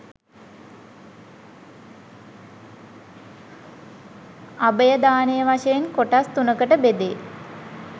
අභයදානය වශයෙන් කොටස් තුනකට බෙදේ.